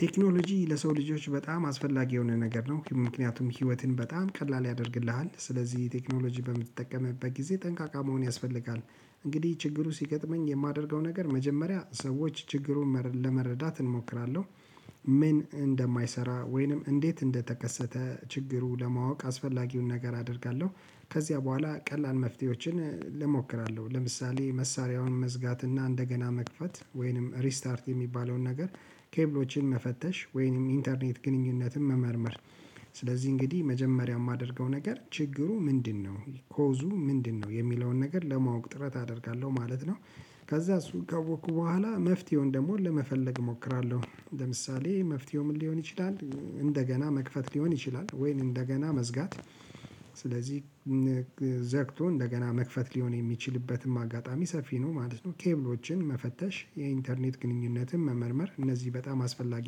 ቴክኖሎጂ ለሰው ልጆች በጣም አስፈላጊ የሆነ ነገር ነው ምክንያቱም ህይወትን በጣም ቀላል ያደርግልሃል። ስለዚህ ቴክኖሎጂ በምትጠቀምበት ጊዜ ጠንቃቃ መሆን ያስፈልጋል። እንግዲህ ችግሩ ሲገጥመኝ የማደርገው ነገር መጀመሪያ ሰዎች ችግሩን ለመረዳት እሞክራለሁ። ምን እንደማይሰራ ወይንም እንዴት እንደተከሰተ? ችግሩ ለማወቅ አስፈላጊውን ነገር አደርጋለሁ። ከዚያ በኋላ ቀላል መፍትሄዎችን እሞክራለሁ ለምሳሌ መሳሪያውን መዝጋትና እንደገና መክፈት ወይንም ሪስታርት የሚባለውን ነገር ኬብሎችን መፈተሽ ወይንም ኢንተርኔት ግንኙነትን መመርመር። ስለዚህ እንግዲህ መጀመሪያ የማደርገው ነገር ችግሩ ምንድነው? ኮዙ ምንድነው የሚለውን ነገር ለማወቅ ጥረት አደርጋለሁ ማለት ነው። ከዛ እሱ ካወኩ በኋላ መፍትሄውን ደግሞ ለመፈለግ እሞክራለሁ። ለምሳሌ መፍትሄው ምን ሊሆን ይችላል? እንደገና መክፈት ሊሆን ይችላል ወይን እንደገና መዝጋት። ስለዚህ ዘግቶ እንደገና መክፈት ሊሆን የሚችልበትም አጋጣሚ ሰፊ ነው ማለት ነው። ቴብሎችን መፈተሽ የኢንተርኔት ግንኙነትን መመርመር እነዚህ በጣም አስፈላጊ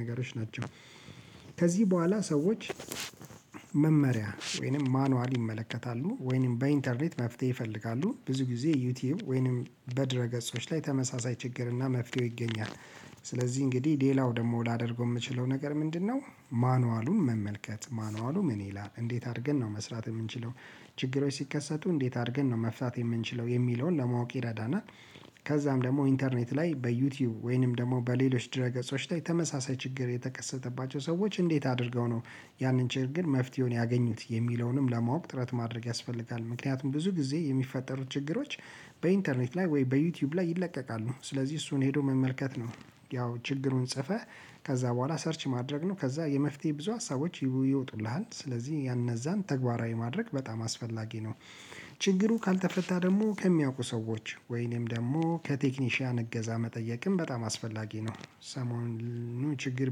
ነገሮች ናቸው። ከዚህ በኋላ ሰዎች መመሪያ ወይንም ማኑዋል ይመለከታሉ ወይንም በኢንተርኔት መፍትሄ ይፈልጋሉ ብዙ ጊዜ ዩቲዩብ ወይንም በድረ ገጾች ላይ ተመሳሳይ ችግርና መፍትሄው ይገኛል። ስለዚህ እንግዲህ ሌላው ደግሞ ላደርገው የምችለው ነገር ምንድነው? ማኑዋሉን መመልከት ማኑዋሉ ምን ይላል እንዴት አድርገን ነው መስራት የምንችለው? ችግሮች ሲከሰቱ እንዴት አድርገን ነው መፍታት የምንችለው የሚለውን ለማወቅ ይረዳናል። ከዛም ደግሞ ኢንተርኔት ላይ በዩቲዩብ ወይንም ደግሞ በሌሎች ድረ ገጾች ተመሳሳይ ችግር የተከሰተባቸው ሰዎች እንዴት አድርገው ነው? ያንን ችርግን መፍትሄውን ያገኙት የሚለውንም ለማወቅ ጥረት ማድረግ ያስፈልጋል። ምክንያቱም ብዙ ጊዜ የሚፈጠሩ ችግሮች በኢንተርኔት ላይ ወይ በዩቲዩብ ላይ ይለቀቃሉ ስለዚህ እሱን ሄዶ መመልከት ነው። ያው ችግሩን ጽፈህ ከዛ በኋላ ሰርች ማድረግ ነው ከዛ የመፍትሄ ብዙ ሀሳቦች ይወጡልሃል ስለዚህ እነዛን ተግባራዊ ማድረግ በጣም አስፈላጊ ነው። ችግሩ ካልተፈታ ደግሞ ከሚያውቁ ሰዎች ወይንም ደግሞ ከቴክኒሻውያን እገዛ መጠየቅም በጣም አስፈላጊ ነው። ሰሞኑን ችግር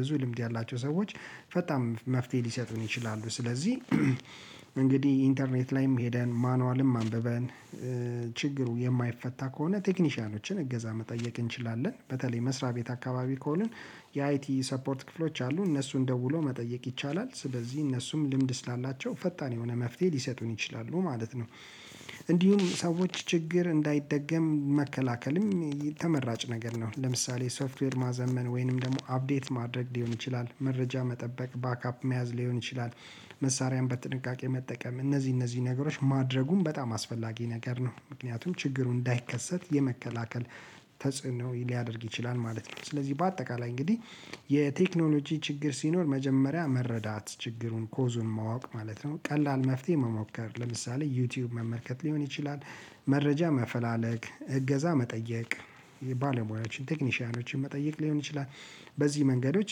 ብዙ ልምድ ያላቸው ሰዎች ፈጣን መፍትሄ ሊሰጡን ይችላሉ። ስለዚህ እንግዲህ ኢንተርኔት ላይም ሄደን ማኑዋልም አንብበን ችግሩ የማይፈታ ከሆነ ቴክኒሻኖችን እገዛ መጠየቅ እንችላለን። በተለይ መስሪያ ቤት አካባቢ ከሆኑ የአይቲ ሳፖርት ክፍሎች አሉ እነሱን ደውሎ መጠየቅ ይቻላል። ስለዚህ እነሱም ልምድ ስላላቸው ፈጣን የሆነ መፍትሄ ሊሰጡን ይችላሉ ማለት ነው። እንዲሁም ሰዎች ችግር እንዳይደገም መከላከልም ተመራጭ ነገር ነው። ለምሳሌ ሶፍትዌር ማዘመን ወይንም ደግሞ አፕዴት ማድረግ ሊሆን ይችላል መረጃ መጠበቅ ባክአፕ መያዝ ሊሆን ይችላል። መሳሪያም በጥንቃቄ መጠቀም እነዚህ እነዚህ ነገሮች ማድረጉም በጣም አስፈላጊ ነገር ነው። ምክንያቱም ችግሩ እንዳይከሰት የመከላከል ተጽዕኖ ሊያደርግ ይችላል ማለት ነው። ስለዚህ በአጠቃላይ እንግዲህ የቴክኖሎጂ ችግር ሲኖር መጀመሪያ መረዳት ችግሩን ኮዙን ማወቅ ማለት ነው ቀላል መፍትሄ መሞከር ለምሳሌ ዩቲዩብ መመልከት ሊሆን ይችላል። መረጃ መፈላለግ እገዛ መጠየቅ። የባለሙያዎችን ቴክኒሻውያኖችን መጠየቅ ሊሆን ይችላል። በዚህ መንገዶች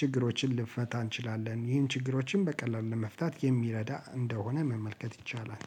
ችግሮችን ልንፈታ እንችላለን። ይህም ችግሮችን በቀላሉ ለመፍታት የሚረዳ እንደሆነ መመልከት ይቻላል